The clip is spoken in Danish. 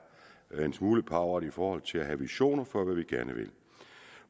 en smule pauvert i forhold til at have visioner for hvad vi gerne vil